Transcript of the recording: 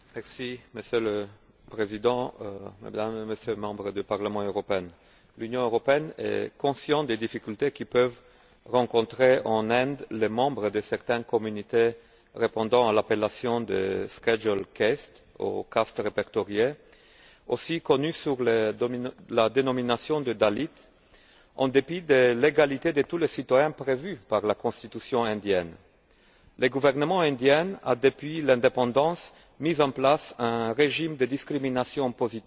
Monsieur le Président, Mesdames et Messieurs les députés, l'Union européenne est consciente des difficultés que peuvent rencontrer en Inde les membres de certaines communautés répondant à l'appellation de ou caste répertoriée, connus également sous la dénomination de dalits. En dépit de l'égalité de tous les citoyens prévue par la constitution indienne, le gouvernement indien a, depuis l'indépendance, mis en place un régime de discrimination positive